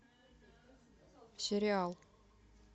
сериал